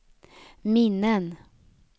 minnen